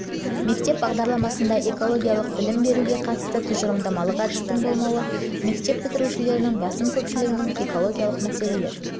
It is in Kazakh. мектеп бағдарламасында экологиялық білім беруге қатысты тұжырымдамалық әдістің болмауы мектеп бітірушілерінің басым көпшілігінің экологиялық мәселелер туралы біртұтас көзқарасының